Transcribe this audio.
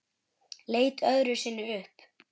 Leit öðru sinni upp.